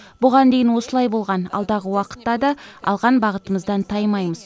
бұған дейін осылай болған алдағы уақытта да алған бағытымыздан таймаймыз